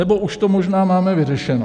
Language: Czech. Nebo už to možná máme vyřešeno.